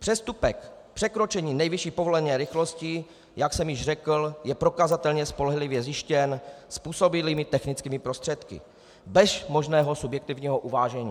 Přestupek překročení nejvyšší povolené rychlosti, jak jsem již řekl, je prokazatelně spolehlivě zjištěn způsobilými technickými prostředky bez možného subjektivního uvážení.